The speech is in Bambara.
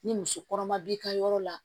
Ni muso kɔnɔma b'i ka yɔrɔ la